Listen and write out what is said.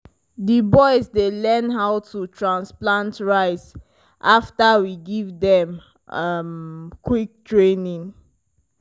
di boys learn how to transplant rice after we give them um quick training.